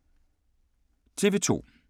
TV 2